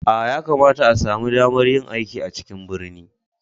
A, ya kamata a sami damar yin aiki a cikin birni